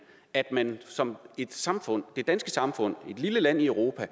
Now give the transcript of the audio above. at man som samfund det danske samfund et lille land i europa